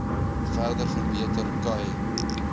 verder verbeter khai